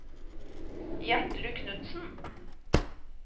Gjertrud Knutsen